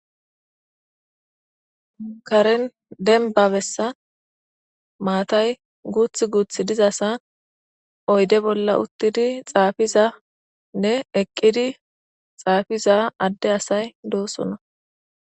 Karen denbabessa maatay guuth guuth dizasa oyde bolla uttidi xaafizanne eqqidi xaafiza adde asay doosona